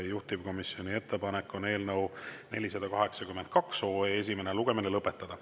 Juhtivkomisjoni ettepanek on eelnõu 482 esimene lugemine lõpetada.